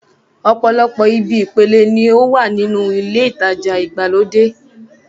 Ọ̀pọ̀lọpọ̀ ibi ìpele ni ó wà ní inúu ilé ìtajà ìgbàlódé